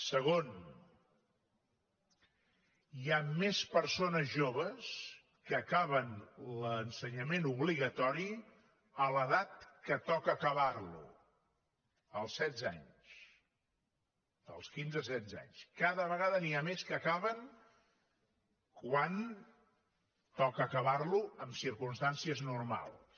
segon hi ha més persones joves que acaben l’ensenyament obligatori a l’edat en què toca acabar lo als setze anys als quinze setze anys cada vegada n’hi ha més que acaben quan toca acabar lo en circumstàncies normals